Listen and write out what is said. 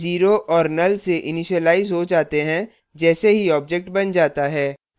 वे 0 और null से initialize हो जाते हैं जैसे ही object बन जाता है